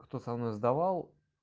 кто со мной сдавал